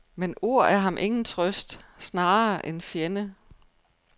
Men ord er ham ingen trøst, snarere en fjende.